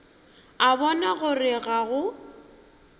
a bona gore ga go